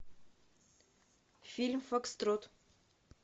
фильм фокстрот